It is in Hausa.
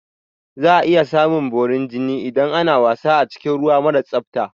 Za a iya samun borin jini idan ana wasa a cikin ruwa mara tsafta